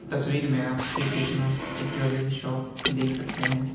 तस्वीर में आप श्री कृष्णा एक ज्वेलरी शॉप देख सकते हैं।